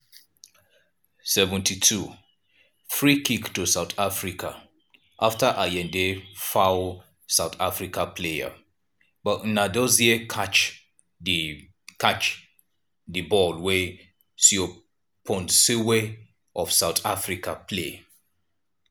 72' freekick to south africa afta ayinde foul sout african player but nnadozie catch di catch di ball wey seoponsenwe of south africa play.